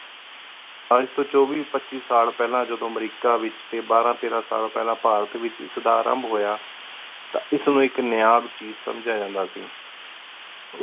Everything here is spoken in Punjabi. ਅਜੇ ਤੋ ਚੌਬੀ ਪੱਚੀ ਸਾਲ ਪੇਹ੍ਲਾਂ ਜਦੋਂ ਅਮੇਰਿਕਾ ਏਚ ਟੀ ਬਾਰਾਂ ਤੇਰਾਂ ਸਾਲ ਪਹਲਾ ਭਾਰਤ ਵਿਚ ਹੋਯਾ ਤਾਂ ਏਸ ਨੂ ਇਕ ਨਾਯਾਬ ਚੀਜ਼ ਸਮਜਾ ਜਾਂਦਾ ਸੀ